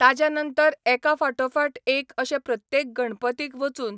ताज्या नंतर एका फाटोफाट एक अशे प्रत्येक गणपतीक वचून,